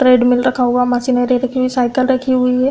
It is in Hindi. ट्रेडमिल रखा हुआ मशीन रखी हुई साइकिल रखी हुई है।